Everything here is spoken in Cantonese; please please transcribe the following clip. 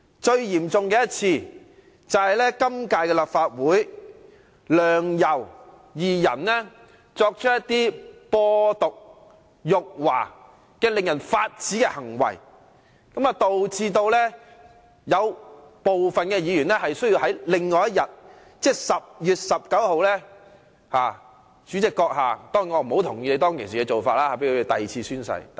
最嚴重的一次，便是今屆立法會梁、游二人作出"播獨"、辱華等令人髮指的行為，導致部分議員需要在其後的立法會會議，即2016年10月19日的會議上作第二次宣誓。